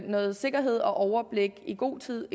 noget sikkerhed og overblik i god tid